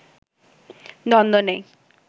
দ্বন্দ নেই